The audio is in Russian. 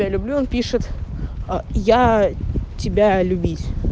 я люблю он пишет я тебя любить